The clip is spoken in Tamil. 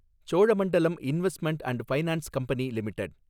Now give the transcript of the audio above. Cholamandalam investment and finance company limited